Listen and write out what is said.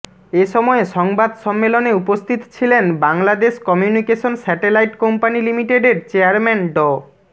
এ সময় সংবাদ সম্মেলনে উপস্থিত ছিলেন বাংলাদেশ কমিউনিকেশন স্যাটেলাইট কোম্পানি লিমিটেডের চেয়ারম্যান ড